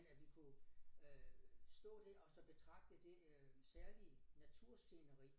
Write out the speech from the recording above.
End at vi kunne øh stå der og så betragte det øh særlige natursceneri